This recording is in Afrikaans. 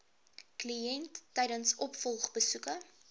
kliënt tydens opvolgbesoeke